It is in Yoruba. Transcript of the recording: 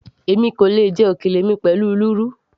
èmi kò lè jẹ òkèlè mi pẹ̀lú lúrú